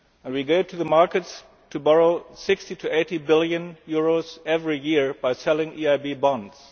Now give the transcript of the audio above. We go to the markets to borrow EUR 60 to 80 billion every year by selling EIB bonds.